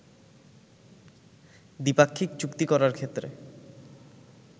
দ্বিপাক্ষিক চুক্তি করার ক্ষেত্রে